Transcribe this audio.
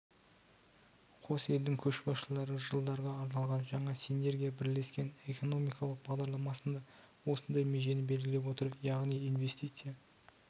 қос елдің көшбасшылары жылдарға арналған жаңа синергия бірлескен экономикалық бағдарламасында осындай межені белгілеп отыр яғни инвестиция